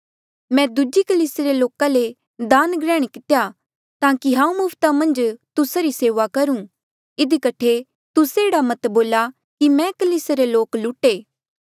मैं दूजी कलीसिया रे लोका ले दान ग्रहण कितेया ताकि हांऊँ मुफ्ता मन्झ तुस्सा री सेऊआ करूं इधी कठे तुस्से एह्ड़ा मत बोला कि मै कलीसिया रे लोक लुटे